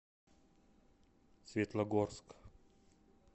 светлогорск